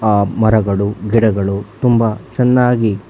ಆ ಮರಗಳು ಗಿಡಗಳು ತುಂಬಾ ಚೆನ್ನಾಗಿ.